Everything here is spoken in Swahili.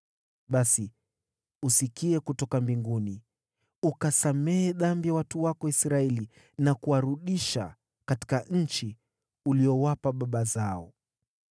basi usikie kutoka mbinguni, ukasamehe dhambi ya watu wako Israeli na kuwarudisha katika nchi uliyowapa baba zao.